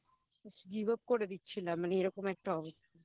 Give up করে দিচ্ছিলাম মানে এরকম একটা অবস্থা